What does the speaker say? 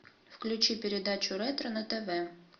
включи передачу ретро на тв